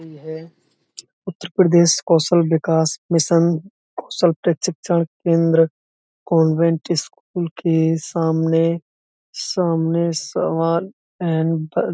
है। उतरप्रदेश कौशल विकास मिशन कौशल प्रक्षिशण केंद्र convent school के सामने सामने सवाल एंड --